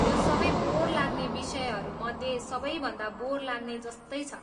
यो सबै बोर लाग्ने विषयहरू मध्ये सबैभन्दा बोर लाग्ने जस्तै छ।